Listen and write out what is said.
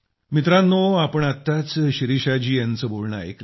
मित्रांनो आपण आत्ताच शिरीषा जी यांचं बोलणं ऐकलं